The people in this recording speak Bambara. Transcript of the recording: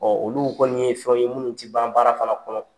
olu kɔnni ye fɛn ye minnu tɛ ban baara fana kɔnɔ.